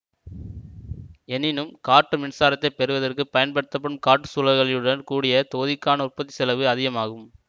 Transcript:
எனினும் காற்று மின்சாரத்தைப் பெறுவதற்குப் பயன்படுத்தப்படும் காற்றுச் சுழலிகளுடன் கூடிய தொகுதிக்கான உற்பத்தி செலவு அதிகமாகும்